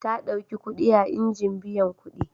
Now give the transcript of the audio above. Ta ɗauki kuɗi a injin biyan kuɗi.